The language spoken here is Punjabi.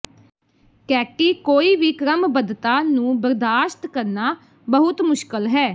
ਕੈਟੀ ਕੋਈ ਵੀ ਕ੍ਰਮਬੱਧਤਾ ਨੂੰ ਬਰਦਾਸ਼ਤ ਕਰਨਾ ਬਹੁਤ ਮੁਸ਼ਕਲ ਹੈ